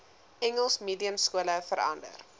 engels mediumskole verander